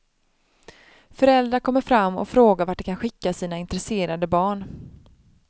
Föräldrar kommer fram och frågar vart de kan skicka sina intresserade barn.